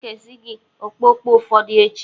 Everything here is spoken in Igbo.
Ee, M ga-ekesi gị okpokpo ụfọdụ echi.